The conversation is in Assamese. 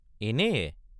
এনেয়ে?